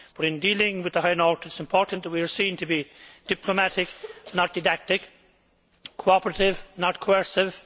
But in dealing with the High North, it is important that we are seen to be diplomatic, not didactic cooperative, not coercive